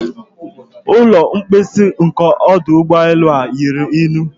Ụlọ mposi nke ọdụ ụgbọelu a ruru unyi.